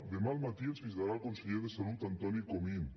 demà al matí ens visitarà el conseller de salut antoni comín